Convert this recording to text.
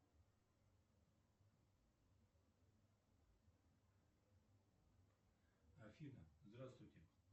афина здравствуйте